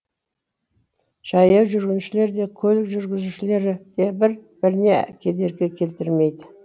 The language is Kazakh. жаяу жүргіншілер де көлік жүргізушілері де бір біріне кедергі келтірмейді